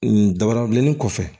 N dabara bilenni kɔfɛ